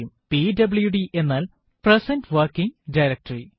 PWD എന്നാൽ present working directory